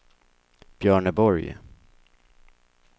Björneborg